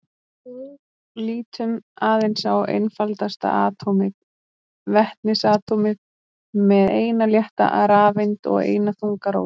Lítum aðeins á einfaldasta atómið, vetnisatómið með eina létta rafeind og eina þunga róteind.